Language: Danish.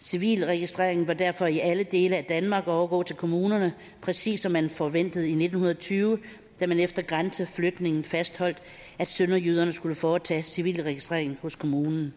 civilregistreringen bør derfor i alle dele af danmark overgå til kommunerne præcis som man forventede i nitten tyve da man efter grænseflytningen fastholdt at sønderjyderne skulle foretage civilregistreringen hos kommunen